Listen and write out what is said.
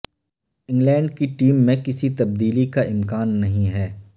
England کی team میں کسی تبدیلی کا امکان نہیں ہے